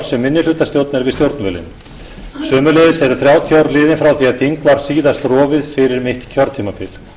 sem minnihlutastjórn er við stjórnvölinn sömuleiðis eru þrjátíu ár liðin frá því að þing var síðast rofið fyrir mitt kjörtímabil